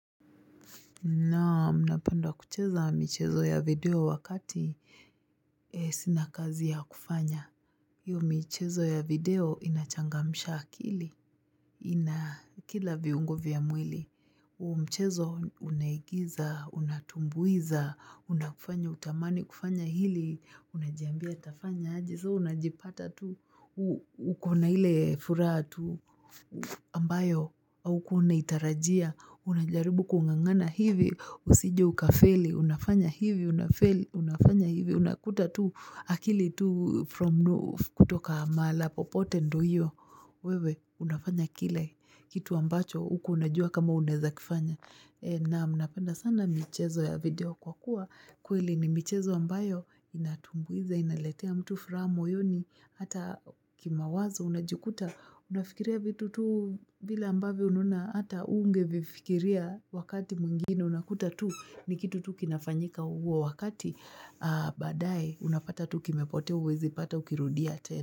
Naam napanda kucheza michezo ya video wakati sinakazi ya kufanya. Hio michezo ya video inachangamisha kili. Ina kila viungo vya mwili. Mchezo unahigiza, unatumbuiza, unakufanya utamani kufanya hili, unajiambia tafanya. Soo unajipata tu ukona hile furaha tu ambayo au kuna itarajia unajaribu kung'ang'ana hivi usije ukafeli, unafanya hivi unafanya hivi, unafanya hivi unakuta tu akili tu kutoka maalapopote ndo hiyo, wewe unafanya kile kitu ambacho hukuwa unajua kama unaezakifanya naam napenda sana michezo ya video kwa kuwa kweli ni michezo ambayo inatunguiza inaletea mtu furaha moyoni hata kima wazo unajikuta unafikiria vitu tu bila ambavo unaona hata unge vifikiria wakati mwingine unakuta tu ni kitu tu kinafanyika uo wakati baadaye unapata tu kimepotea uwezi pata kukirudia tena.